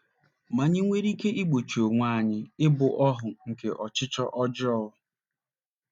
Ma, anyị nwere ike igbochi onwe anyị ịbụ ohu nke ọchịchọ ọjọọ.